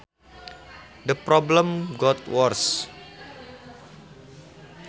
The problem got worse